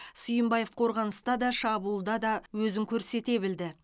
сүйімбаев қорғаныста да шабуылда да өзін көрсете білді